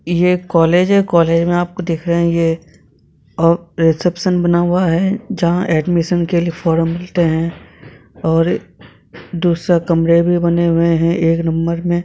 यह एक कॉलेज है कॉलेज में आपको दिख रहे है ये अ रिसेप्शन बना हुआ है जहां एडमिशन के लिए फॉर्म मिलते हैं और दूसरा कमरे भी बने हुए हैं एक नंबर में--